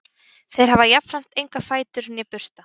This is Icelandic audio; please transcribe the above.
þeir hafa jafnframt enga fætur né bursta